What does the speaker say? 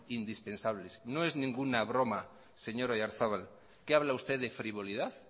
indispensables no es ninguna broma señor oyarzabal qué habla usted de frivolidad